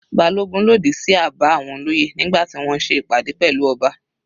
Balogun lòdì sí àbá àwọn olóyè nígbà tí wọ́n ṣe ìpàdé pẹ̀lú ọba.